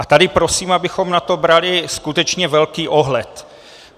A tady prosím, abychom na to brali skutečně velký ohled.